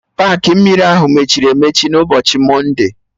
Paakị mmiri ahụ emechiri emechi n'ụbọchị mọnde?